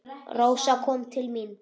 Rósa kom til mín.